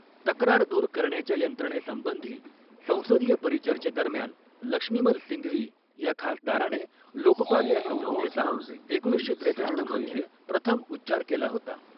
तक्रार दूर करण्याच्या यंत्रणेसंबंधी संसदीय परीचर्चेदरम्यान लक्ष्मीमल सिंघवी ह्या खासदाराणे लोकपाल या संज्ञेचा एकोणीसशे त्रेसष्ठ मध्ये प्रथम उच्चार केला होता.